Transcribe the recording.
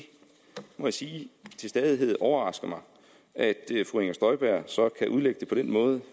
må sige at det til stadighed overrasker mig at fru inger støjberg så kan udlægge det på den måde